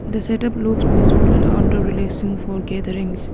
the setup looks peaceful and under relaxing for gatherings.